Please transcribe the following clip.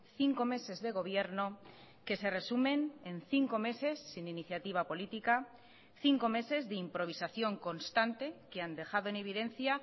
cinco meses de gobierno que se resumen en cinco meses sin iniciativa política cinco meses de improvisación constante que han dejado en evidencia